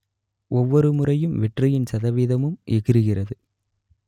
ஒவ்வொருமுறையும் வெற்றியின் சதவீதமும் எகிறுகிறது